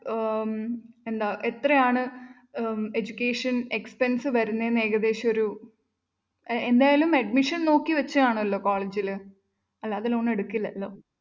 ആഹ് എന്താ എത്രയാണ് education expense വരുന്നേന്ന് ഏകദേശം ഒരു ഏർ എന്തായാലും admission നോക്കി വെച്ച് കാണുമല്ലോ ഒരു college ല് അല്ല അത് loan എടുക്കില്ലല്ലോ